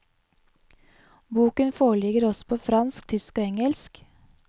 Boken foreligger også på fransk, tysk og engelsk.